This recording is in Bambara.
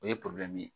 O ye ye